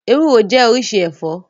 Ewúro jẹ́ oríṣi ẹ̀fọ́.